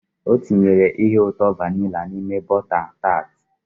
O tinyere ihe ụtọ vanilla n'ime bota taat